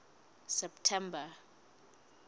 september